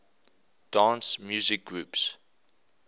dance music groups